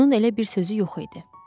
Onun elə bir sözü yox idi.